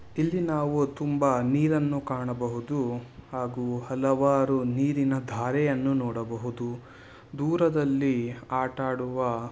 ಇಲ್ಲಿ ನಾವು ತುಂಬಾ ನೀರನ್ನು ಕಾಣಬಹುದು ಹಾಗು ಹಲವಾರು ನೀರಿನ ಧಾರೆಯನ್ನು ನೋಡ್ಬಹುದು ದೂರದಲ್ಲಿ ಆಟ ಆಡುವಾ --